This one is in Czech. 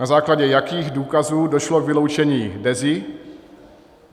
Na základě jakých důkazů došlo k vyloučení Dezy?